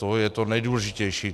To je to nejdůležitější.